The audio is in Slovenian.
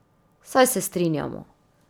Saj se strinjamo.